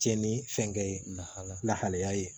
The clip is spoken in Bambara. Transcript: Cɛn ni fɛnkɛ ye lahala lahalaya ye